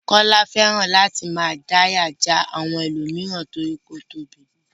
Kọ́lá fẹ́ràn láti máa dáyà já àwọn mìíràn nítorí ó tóbi.